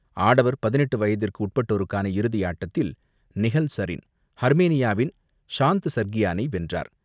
ஆடவர் பதினெட்டு வயதுக்கு உட்பட்டோருக்கான இறுதியாட்டத்தில் நிஹல் சரின் ஹர்மேனியாவின் சாண்ட் சர்கியானை வென்றார்.